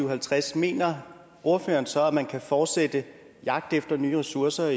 og halvtreds mener ordføreren så at man kan fortsætte jagten efter nye ressourcer